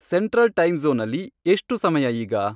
central ಟೈಮ್ಜ಼ೋನಲ್ಲಿ ಎಷ್ಟು ಸಮಯ ಈಗ